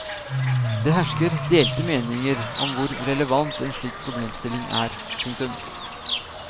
Det hersker delte meninger om hvor relevant en slik problemstilling er. punktum